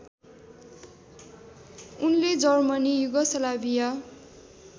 उनले Germany Yugoslavia